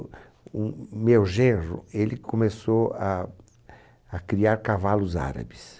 O, o meu genro ele começou a a criar cavalos árabes.